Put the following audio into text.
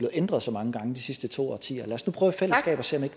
ændret så mange gange de sidste to årtier lad os nu prøve